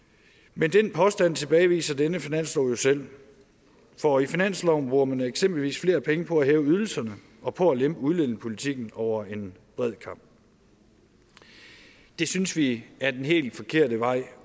men den påstand tilbageviser denne finanslov jo selv for i finansloven bruger man eksempelvis flere penge på at hæve ydelserne og på at lempe udlændingepolitikken over en bred kam det synes vi er den helt forkerte vej